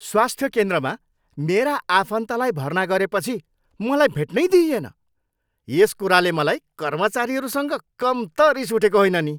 स्वास्थ्य केन्द्रमा मेरा आफन्तलाई भर्ना गरेपछि मलाई भेट्नै दिइएन। यस कुराले मलाई कर्मचारीहरूसँग कम त रिस उठेको होइन नि।